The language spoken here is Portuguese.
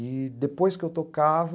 E, depois que eu tocava...